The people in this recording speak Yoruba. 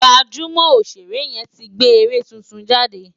Gbajúmọ̀ Òṣèré yẹn ti gbé eré tuntun jáde